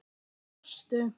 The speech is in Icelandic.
Þau brostu.